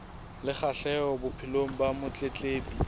le kgahleho bophelong ba motletlebi